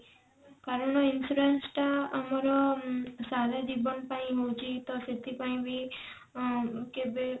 କାରଣ insurance ଟା ଆମର ସାରା ଜୀବନ ପାଇଁ ହୋଉଛି ତ ସେଥିପାଇଁ ବି ଅ କେବେ